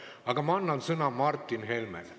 Aga ma annan sõna Martin Helmele.